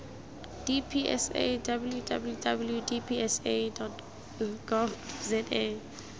dpsa www dpsa gov za